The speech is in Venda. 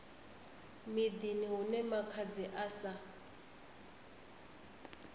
miḓini hune makhadzi a sa